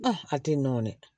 hakili nɔni